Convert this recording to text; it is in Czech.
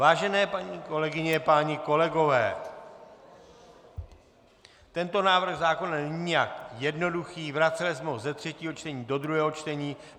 Vážené paní kolegyně, páni kolegové, tento návrh zákona není nijak jednoduchý, vraceli jsme ho ze třetího čtení do druhého čtení.